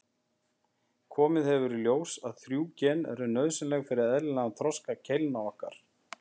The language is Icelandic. Komið hefur í ljós að þrjú gen eru nauðsynleg fyrir eðlilegan þroska keilna okkar.